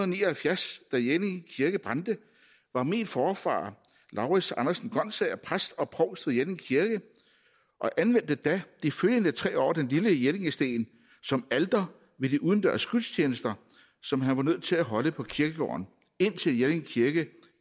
ni og halvfjerds da jelling kirke brændte var min forfader laurits andersen gonsager præst og provst ved jelling kirke og anvendte da de følgende tre år den lille jellingsten som alter ved de udendørs gudstjenester som han var nødt til at holde på kirkegården indtil jelling kirke